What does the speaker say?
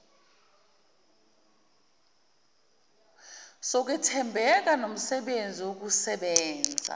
sokwethembeka nomsebenzi wokusebenza